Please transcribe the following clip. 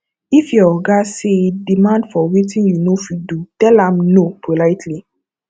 if your oga sey demand for wetin you no fit do tell am no politely